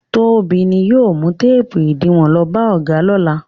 Tóbi ni yóò mú téépù ìdiwọn lọ bá ọ̀gá lọ́nà.